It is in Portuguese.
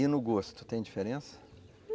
E no gosto, tem diferença?